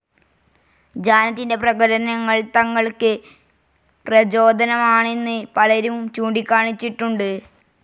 ജാനറ്റിന്റെ പ്രകടനങ്ങൾ തങ്ങൾക്ക് പ്രചോദനമാണെന്ന് പലരും ചൂണ്ടിക്കാണിച്ചിട്ടുണ്ട്.